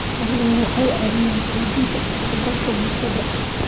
Xooluhu waxay caawiyaan xoojinta is-dhexgalka bulshada.